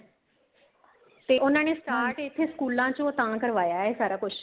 ਤੇ ਉਹਨਾ ਨੇ start ਇਸੇ ਸਕੂਲਾਂ ਚੋ ਤਾਂ ਕਰਵਾਇਆ ਏ ਇਹ ਸਾਰਾ ਕੁੱਛ